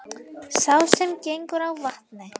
Sá sem gengur á vatni,